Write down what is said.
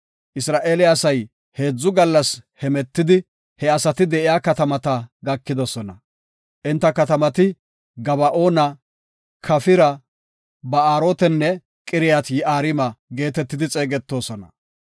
Isra7eele asay heedzu gallas hemetidi, he asati de7iya katamata gakidosona. Enta katamati Gaba7oona, Kafira, Baarotenne Qiriyat-Yi7aarima geetetidi xeegetoosona.